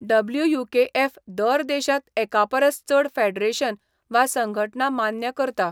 WUKF दर देशांत एकापरस चड फेडरेशन वा संघटना मान्य करता.